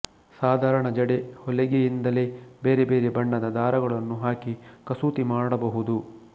ಸಾಧಾರಣ ಜಡೆಹೊಲಿಗೆಯಿಂದಲೇ ಬೇರೆ ಬೇರೆ ಬಣ್ಣದ ದಾರಗಳನ್ನು ಹಾಕಿ ಕಸೂತಿ ಮಾಡಬಹುದು